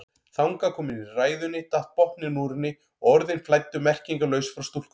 Þangað komin í ræðunni datt botninn úr henni og orðin flæddu merkingarlaus frá stúlkunni.